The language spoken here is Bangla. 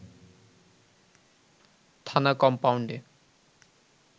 থানা কমপাউন্ডে